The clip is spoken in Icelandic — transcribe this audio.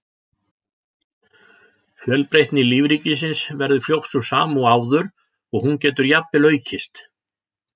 Fjölbreytni lífríkisins verður fljótt sú sama og áður og hún getur jafnvel aukist.